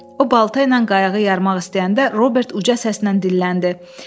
O balta ilə qayığı yarmaq istəyəndə Robert uca səslə dilləndi.